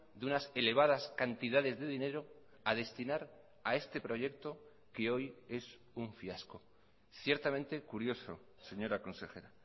de unas elevadas cantidades de dinero a destinar a este proyecto que hoy es un fiasco ciertamente curioso señora consejera